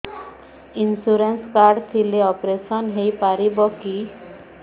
insurance card ଥିଲେ operation ହେଇପାରିବ କି